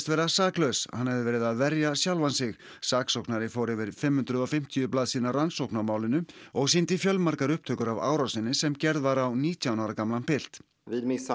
vera saklaus hann hefði verið að verja sjálfan sig saksóknari fór yfir fimmhundruð og fimmtíu blaðsíðna rannsókn á málinu og sýndi fjölmargar upptökur af árásinni sem gerð var á nítján ára pilt